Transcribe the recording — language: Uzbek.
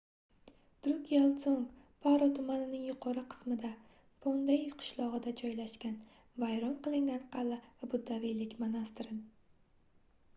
drukgyal dzong — paro tumanining yuqori qismida phondey qishlog'ida joylashgan vayron qilingan qal'a va buddaviylik monastiri